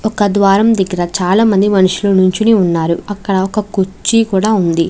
ఒక ద్వారం దగ్గర చాలామంది మనుషులు నించుని ఉన్నారు. అక్కడ కుర్చీ కూడా ఉంది.